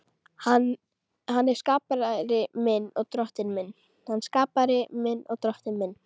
Hann er skapari minn og Drottinn.